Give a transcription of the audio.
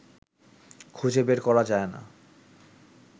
খুঁজে বের করা যায় না